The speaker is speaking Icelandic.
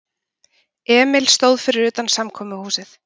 Emil stóð fyrir utan samkomuhúsið.